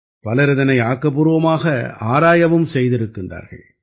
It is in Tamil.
பலர் இதனை ஆக்கப்பூர்வமாக ஆராயவும் செய்திருக்கிறார்கள்